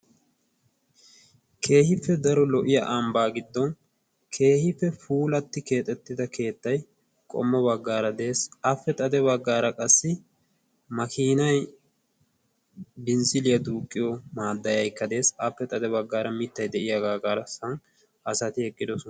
Keehippe daro lo77iya ambbaa giddon keehippe puulatti keexettida keettay qommo baggaara de7es. appe xade baggaara qassi makiinay binzziiliyaa duuqqiyomaaddayikkaa de7es. appe xade baggaara mittay de7iyaaga garssan asati eqqidosona.